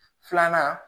Filanan